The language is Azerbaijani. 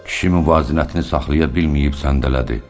Kişi müvazinətini saxlaya bilməyib səndələdi.